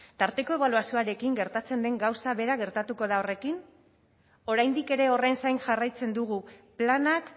tarteko ebaluazioarekin gertatzen den gauza bera gertatuko da horrekin oraindik ere horren zain jarraitzen dugu planak